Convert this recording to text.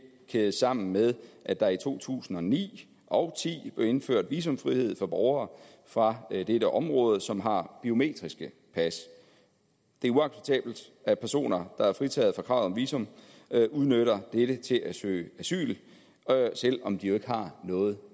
kædes sammen med at der i to tusind og ni og ti blev indført visumfrihed for borgere fra dette område som har biometriske pas det er uacceptabelt at personer der er fritaget for kravet om visum udnytter dette til at søge asyl selv om de jo ikke har noget